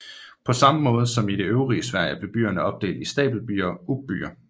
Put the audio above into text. På samme måde som i det øvrige Sverige blev byerne opdelt i stapelbyer og uppbyer